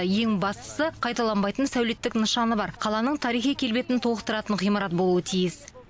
ең бастысы қайталанбайтын сәулеттік нышаны бар қаланың тарихи келбетін толықтыратын ғимарат болуы тиіс